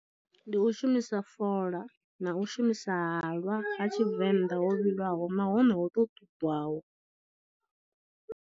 Ndi u shumisa fola na u shumisa halwa ha tshivenḓa ho vhilaho nahone ho to ṱudwaho.